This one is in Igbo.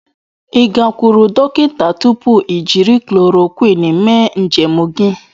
Ị gakwuru dọkịta tupu i jiri chloroquine mee njem gị?